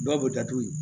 Dɔw bɛ datugu